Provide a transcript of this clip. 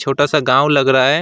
छोटा सा गांव लग रहा है।